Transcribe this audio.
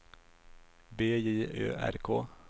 B J Ö R K